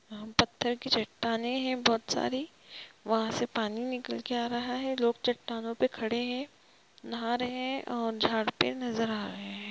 पत्थर की चट्टाने है बहुत सारी वहा से पानी निकल के आ रहा है लोगचट्टानों पे खड़े है नाह रहे हैओर झाड पे नजर आ रहे है ।